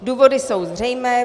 Důvody jsou zřejmé.